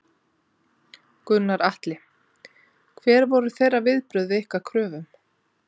Gunnar Atli: Hver voru þeirra viðbrögð við ykkar kröfum?